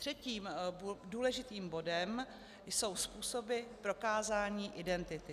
Třetím důležitým bodem jsou způsoby prokázání identity.